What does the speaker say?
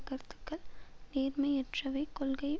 கருத்துக்கள் நேர்மையற்றவை கொள்கை